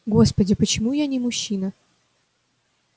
господи почему я не мужчина